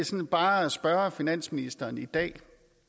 bare spørge finansministeren i dag